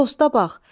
Dosta bax!